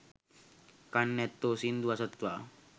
කන් ඇත්තෝ සිංදු අසත්වා